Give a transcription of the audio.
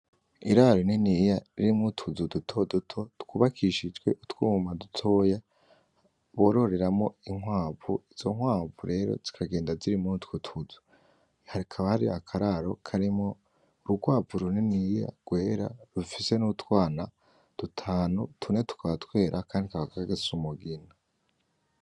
Iraro rininiya ririmwo utuzo duto duto twubakishijwe utwuma dutoya bororeramwo inkwavu izo nkwavu rero zikagenda ziri muri utwo tuzu hakaba hari akararo karimwo urukwavu rininiya rwera rufise nutwana dutanu tune tukaba twera akandi kakaba gasa numugina.